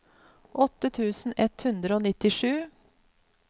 åtte tusen ett hundre og nittisju